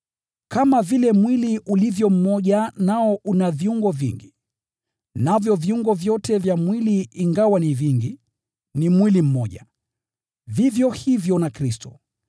Kama vile mwili ulivyo mmoja nao una viungo vingi, navyo viungo vyote vya mwili ingawa ni vingi, ni mwili mmoja, vivyo hivyo na Kristo.